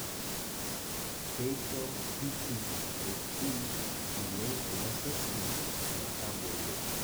keisho PPHP iloik lo sesen metagolo